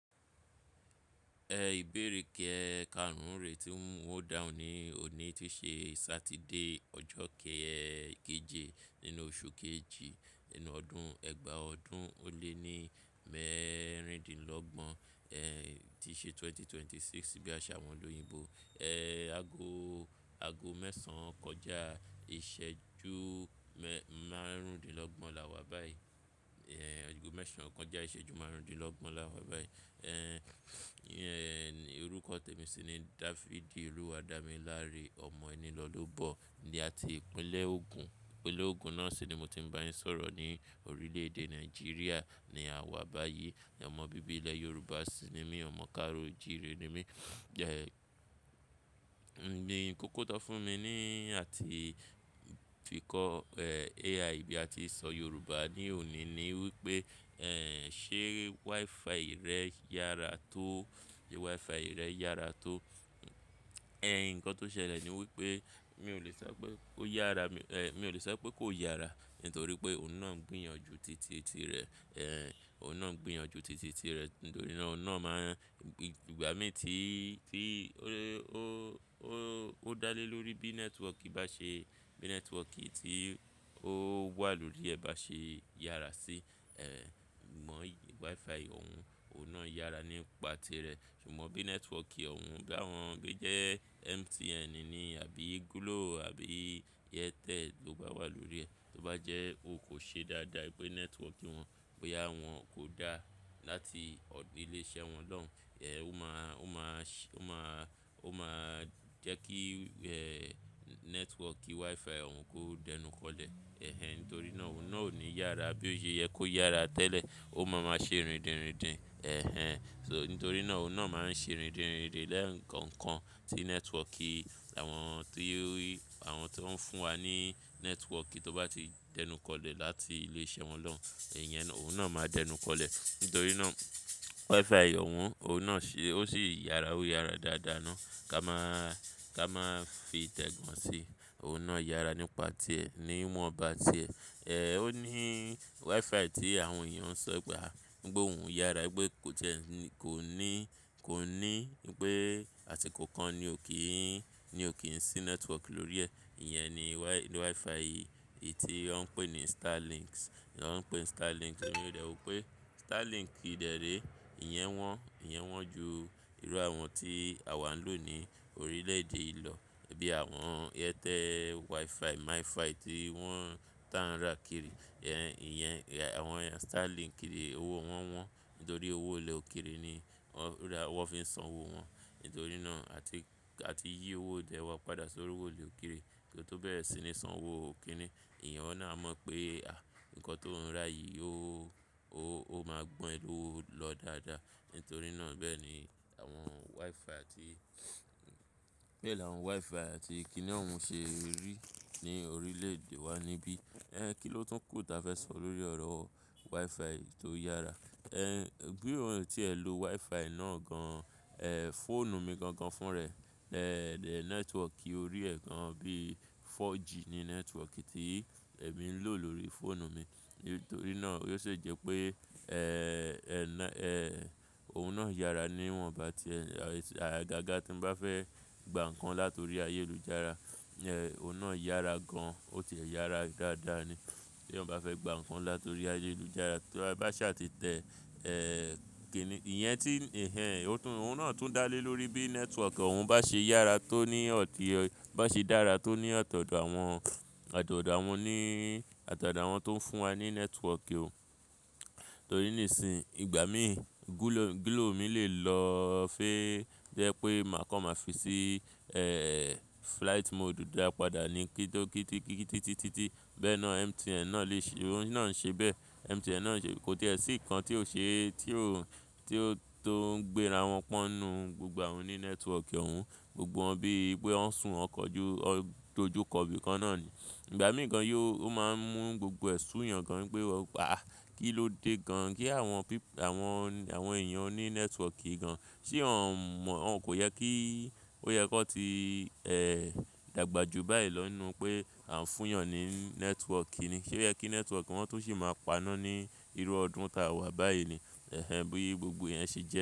Ẹ ìbéèrè kí ẹ ka n rìn, tí mo ń wò dahun ní òní tí ṣe Saturday, ọjọ́ kẹẹ̀jọ nínú oṣù kejì nínú ọdún ẹgbàá ọdún ó lé ní mẹ́rìndínlọ́gbọ̀n, ẹ́ tí ṣe 2026 bí àṣá wọn lóyìnbo. Ee, ago, ago mẹ́sàn kọjá ìṣẹ́jú máàrún dín lọ́gbọ̀n la wà báyìí. Ago mẹ́sàn kọjá ìṣẹ́jú máàrún dín lọ́gbọ̀n la wà báyìí. Orúkọ tèmi sì ni David Oluwadamilare, ọmọ ẹni lọlọ́ bọ̀ ní àti ìpínlẹ̀ Ogun. Ìpínlẹ̀ Ogun náà sì ni mo ti ń bá yín sọ̀rọ̀ ní orílẹ̀ èdè Nàìjíríà ni a wà báyìí. Ọmọ bíbélẹ̀ Yorùbá sì ni mí, ọmọ Káró-Jire ni mí. Ǹdíní kókó tó fún mi ni àti fi kọ AI bí a ti ń sọ Yorùbá ní òní ni wípé ṣe WiFi rẹ yára tó, ṣe WiFi rẹ yára tó. Ǹkan tó ṣẹlẹ̀ ni wípé mi ò le sọ pé kó yára, mi mi ò le sọ pé kó yára nítorí pé òun náà ń gbìyànjú titi tí rẹ̀. Òun náà ń gbìyànjú titi tí rẹ̀ nítorí náà òun náà máa ń g-ìgbà mí tí, tí ó, ó, ó, ó dá lé lórí bí network bá ṣe, bí network tí ó wà lórí ẹ̀ bá ṣe yára sí mọ̀yì WiFi òun, òun náà yára nípa tirẹ̀. Ṣùgbọ́n bí network òun bá wọ́n bí jẹ́ MTN ni àbí Glo àbí Airtel ló bá wà lórí ẹ̀, tó bá jẹ́ ó kò ṣe dáadáa pé network wọn, pé yà wọ́n kò dá láti ilé iṣẹ́ wọn lọ́hùn, ó máa, ó máa sh-ó máa, ó máa jẹ́ kí network ki WiFi òun kó dẹnukọlẹ̀. Nítorí náà òun náà ò ní yára bí ó yẹ kó yára tẹ́lẹ̀. Ó máa máa ṣe rindinrindin. So nítorí náà òun náà máa ń ṣe rindinrindin lẹ́ẹ̀ẹ́ǹkan kan tí network àwọn tó rí, àwọn tó ń fún wa ní network tó bá ti dẹnukọlẹ̀ láti ilé iṣẹ́ wọn lọ, ìyẹn òun náà máa dẹnukọlẹ̀. Nítorí náà WiFi òun, òun náà ṣe, ó sì yára, ó yára dáadáa ná. Ka máa, ka máa fi tẹ̀gàn síi, òun náà yára nípa tirẹ̀, níwọn bá tirẹ̀. Ó ní WiFi tí àwọn èèyàn ń sọ gbà, gbogbo òun yára pé kò jẹ́, kò ní, kò ní pé àti kò kan ni ò kí í, ni ò kí ń sí network lórí ẹ̀. Ìyẹn ni wi-WiFi yìí tí wọ́n ń pè ní Starlink. Wọ́n ń pè Starlink nítorí rẹ̀ wípé Starlink dẹrè, ìyẹn wọ́n, ìyẹn wọ́n ju irú àwọn tí àwa ń lò ní orílẹ̀ èdè ìlọ. Bíi àwọn Airtel WiFi, MiFi tí wọ́n tá ra kiri. Ìyẹn, àwọn Starlink kiri owó wọ́n wọ́n nítorí owó ilẹ̀ òkèèrè ni wọ́n ra, wọ́n fi ń san owó wọn. Nítorí náà àti, àti yí owó dẹ wá padà sórí owó ilẹ̀ òkèèrè. Torí tó bẹ́ẹ̀ sì ni san owó òkèèrè. Ìyẹn náà mọ̀ pé à nǹkan tó ń rà yìí ó, ó, ó máa gbọn élò ó lọ dáadáa. Nítorí náà bẹ́ẹ̀ ni àwọn WiFi àti bẹ́ẹ̀ ni àwọn WiFi àti kíni òun ṣe rí ní orílẹ̀ èdè wa níbí. Kí ló tún kù tí a fẹ́ sọ lórí ọ̀rọ̀ WiFi tó yára? Gbé ohun tí ẹ lo WiFi náà gan fóònù mi gangan fún ẹ. Network ó rí ẹ gan bíi 4G ni network tí èmi ń lò lórí fóònù mi. Nítorí náà ó sì jẹ́ pé òun náà yára níwọn bá tirẹ̀. Àgágá tí n bá fẹ́ gba ǹkan látorí ayélujára, òun náà yára gan, ó ti ẹ̀ yára dáadáa ni. Bí òun bá fẹ́ gba ǹkan látorí ayélujára, tí a bá ṣà ti tẹ kìnìí, ìyẹn tí ó tún, òun náà tún dá lé lórí bí network òun bá ṣe yára tó ní ọ̀tí ọy-- bá ṣe dára tó ní ọ̀tọ̀ọ̀tọ̀ àwọn, ọ̀tọ̀ọ̀tọ̀ àwọn ní, ọ̀tọ̀ọ̀tọ̀ àwọn tó ń fún wa ní network ó. Nítorí nísìí ìgbà mí Glo, Glo mi lè lọ fẹ́ jẹ́ pé mà kọ̀ máa fi sí flight mode dáa padà ni. Kítókítí kíkítí títí. Bẹ́ẹ̀ náà MTN náà lè ṣe, òun náà ń ṣe bẹ́ẹ̀. MTN náà ń ṣe, kò tí è sí nǹkan tí ò ṣe, tí ò, tí ó tó ń gbẹ ra wọ́n pọ́nù gbogbo òun ní network òun. Gbogbo wọ́n bí i pé wọ́n sùn ọkọ̀ ojú, ojú kọ̀bí kan náà ni. Ìgbà mí kan yó, ó máa ń mú gbogbo ẹ̀ sù yàn kan wípé wàá, kí ló dé gan kí àwọn pe-- àwọn, àwọn èèyàn ó ní network gan. Tí wọ́n mọ̀, wọ́n kò yẹ kí, kò yẹ kó ti dàgbà ju báyìí lọ nnu pé à ń fún yàn ní network ni. Sé yẹ kí network wọn tó sì máa paná ní irú ọdún ta wà báyìí ni. Bí i gbogbo ìyẹn ṣe jẹ́.